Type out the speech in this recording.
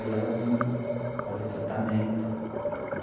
Aí ela vinha fazer tratamento.